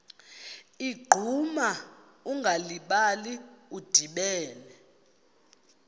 ligquma ungalibali udibene